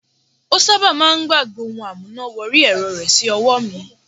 Ó sábà máà ń gbàgbẹ́ ohun amúná wọrí ẹ̀rọ rẹ̀ sí ọwọ́ mi.